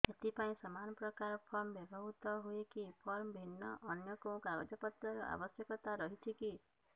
ଏଥିପାଇଁ ସମାନପ୍ରକାର ଫର୍ମ ବ୍ୟବହୃତ ହୂଏକି ଫର୍ମ ଭିନ୍ନ ଅନ୍ୟ କେଉଁ କାଗଜପତ୍ରର ଆବଶ୍ୟକତା ରହିଛିକି